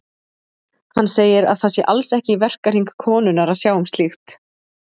Hann segir að það sé alls ekki í verkahring konunnar að sjá um slíkt.